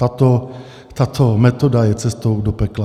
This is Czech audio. Tato metoda je cestou do pekla.